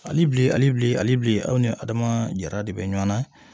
Ali bilen alibi alibilen aw ni adama jara de bɛ ɲɔn na